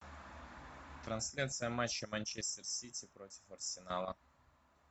трансляция матча манчестер сити против арсенала